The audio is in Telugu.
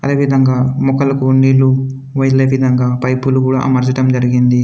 అదేవిధంగా మొక్కలకు నీళ్ళు వెళ్ళేవిధంగా పైపులు కూడా అమర్చడం జరిగింది.